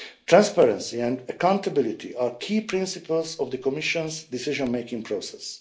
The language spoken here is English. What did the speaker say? Transparency and accountability are key principles of the Commission's decision-making process.